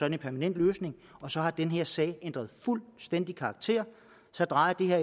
en permanent løsning og så har den her sag fuldstændig ændret karakter så drejer det her